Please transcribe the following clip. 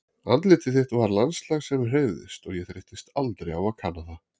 Andlitið þitt var landslag sem hreyfðist og ég þreyttist aldrei á að kanna það.